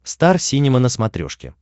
стар синема на смотрешке